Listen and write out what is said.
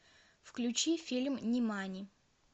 включи фильм нимани